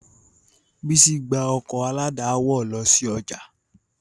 Bísí gbá ọkọ̀ aládàáwọ̀ lọ sí ọjà